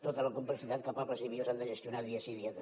tota la complexitat que pobles i viles han de gestionar dia sí dia també